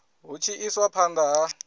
hu tshi iswa phanda ha